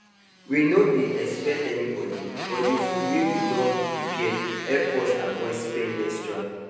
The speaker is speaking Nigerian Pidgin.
we no dey expect anybody but the food wey we don prepare help us avoid spend extra